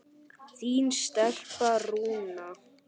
Þín stelpa, Rúna.